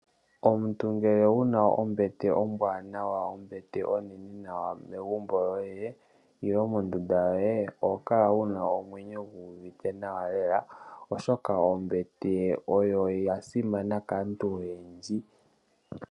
Omuntu ngele wu na ombete ombwaanawa, ombete onene nawa megumbo lyoye, nenge mondunda yoye, oho kala wu na omwenyo gu uvite nawa lela oshoka ombete oyo ya simana kaantu oyendji.